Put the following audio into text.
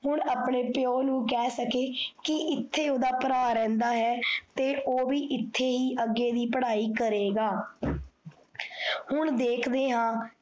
ਹੁਣ ਆਪਣੇ ਪਿਓ ਨੂੰ ਕਿਹ ਸਕੇ ਕੀ ਇੱਥੇ ਓਦਾ ਭਰਾ ਰਹੰਦਾ ਹੈ, ਤੇ ਓਹ ਵੀ ਏਥੇ ਹੀ ਅੱਗੇ ਦੀ ਪੜਾਈ ਕਰੇਗਾ। ਹੁਣ ਦੇਖਦੇ ਹਾਂ